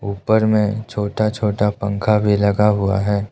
ऊपर में छोटा छोटा पंखा भी लगा हुआ है।